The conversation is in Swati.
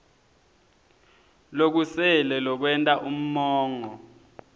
lokusele lokwenta umongo